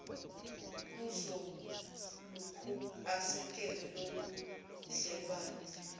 uzolokhu esekele lobubudlelwano